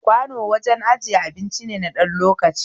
Kwano wajen ijiyan abinci ne na ɗan lokaci